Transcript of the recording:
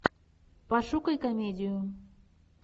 пошукай комедию